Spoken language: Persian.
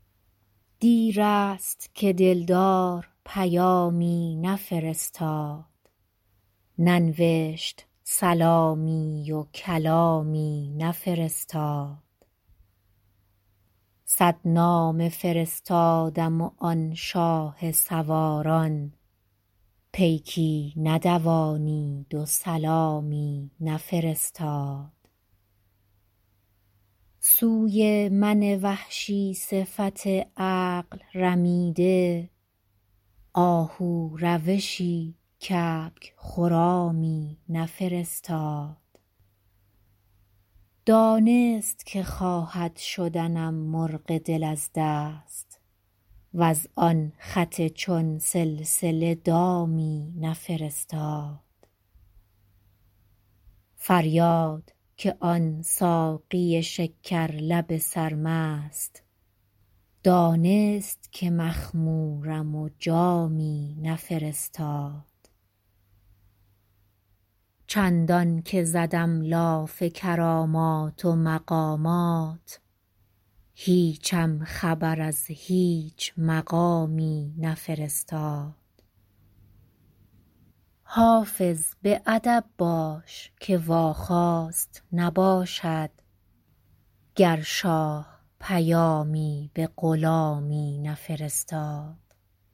دیر است که دل دار پیامی نفرستاد ننوشت سلامی و کلامی نفرستاد صد نامه فرستادم و آن شاه سواران پیکی ندوانید و سلامی نفرستاد سوی من وحشی صفت عقل رمیده آهو روشی کبک خرامی نفرستاد دانست که خواهد شدنم مرغ دل از دست وز آن خط چون سلسله دامی نفرستاد فریاد که آن ساقی شکر لب سرمست دانست که مخمورم و جامی نفرستاد چندان که زدم لاف کرامات و مقامات هیچم خبر از هیچ مقامی نفرستاد حافظ به ادب باش که واخواست نباشد گر شاه پیامی به غلامی نفرستاد